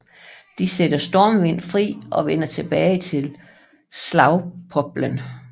De sætter Stormvind fri og vender tilbage til Slagpoplen